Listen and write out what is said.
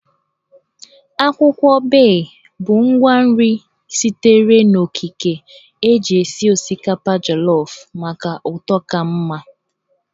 Akwụkwọ Bay bụ ngwa nri sitere n'okike eji esi osikapa jolofụ maka ụtọ ka mma